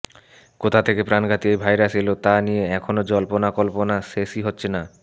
কোথা থেকে প্রাণঘাতী এই ভাইরাস এলো তা নিয়ে এখনও জল্পনা কল্পনা শেষই হচ্ছে না